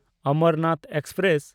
Amarnath express